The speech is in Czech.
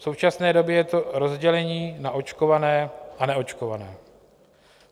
V současné době je to rozdělení na očkované a neočkované.